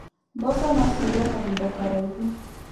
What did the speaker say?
Mboco no cigwo kahinda karaihu.